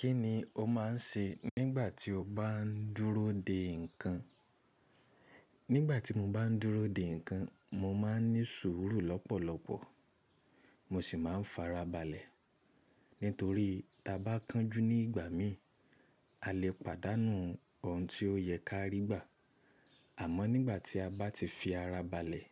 Kí ni o máa ń ṣe nígbà tí o bá ń dúró dè nǹkan? Nígbà tí mo bá ń dúró dè nǹkan, mo máa ń ní sùúrù lọ́pọ̀lọpọ̀, mo sì máa ń fara balẹ̀. Nítorí tí a bá kánjú ní ìgbà mí, a lè pàdánù ohun tí ó yẹ ká rí gbà. Àmọ́ nígbà tí a bá ti fi ara balẹ̀,